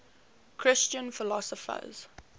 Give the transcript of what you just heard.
christian philosophers